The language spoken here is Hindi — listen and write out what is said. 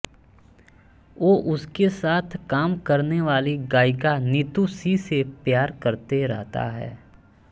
वो उसके साथ काम करने वाली गायिका नीतू सिंह से प्यार करते रहता है